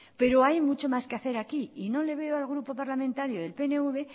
pero hay mucho más que hacer aquí y no le veo al grupo parlamentario del pnv